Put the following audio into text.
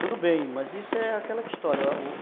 Tudo bem, mas isso é aquela história.